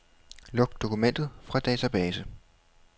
Luk dokument fra database.